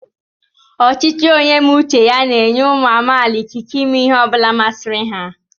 ọchịchị onye mé uche ya n'enyé umu amaala ikike ímé ihe ọbula masịrị ha